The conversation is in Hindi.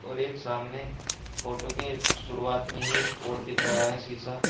और एक सामने फोटो के शुरुआत में ही एक और दिख रहा है शिशा।